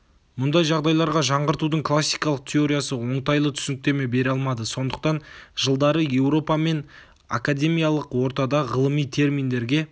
мұндай жағдайларға жаңғыртудың классикалық теориясы оңтайлы түсініктеме бере алмады сондықтан жылдары еуропа мен ғы академиялық ортада ғылыми терминдерге